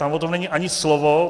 Tam o tom není ani slovo.